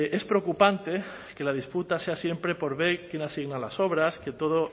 es preocupante que la disputa sea siempre por ver quién asigna las obras que todo